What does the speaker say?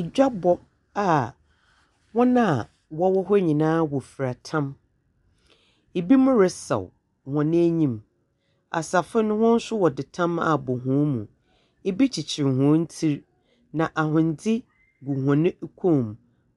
Edwa bɔ a wɔn a wɔ hɔ nyinaa ɔfira tam. Ebi mo resaw wo n'anim . Asafo no hɔn nso wɔde tam abɔ hɔn mu. Ebi kyekyere hɔn ti na ahodze gugu hɔn kom.